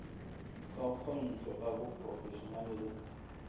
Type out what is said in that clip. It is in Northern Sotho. ka kgontšho ka boprofešenale le